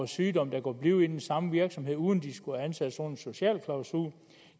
sygdom der kunne blive i den samme virksomhed uden at de skulle ansættes under sociale klausuler